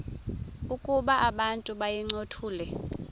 ukuba abantu bayincothule